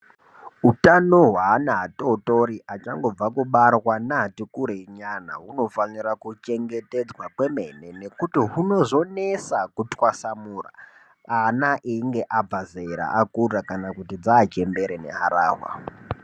Utano hwevana vatotori nevati kurei nyana unofanire kuchengetedzwa kwemene nekuti hunozonesa kutwasanura ana achinge abva zera kana kuti vachembere neharahwa.